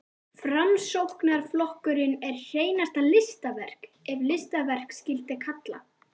Framsóknarflokkurinn er hreinasta listaverk, ef listaverk skyldi kalla.